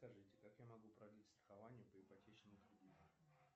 скажите как я могу продлить страхование по ипотечному кредиту